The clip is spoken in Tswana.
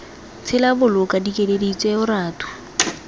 tshela boloka dikeledi tseo ratu